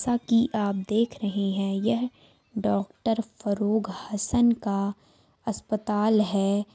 जैसा की आप देख रहे है यह डॉक्टर फरुग हसन का अस्पताल है।